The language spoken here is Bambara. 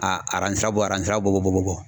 A aransira bɔ aran sira bɔ bɔ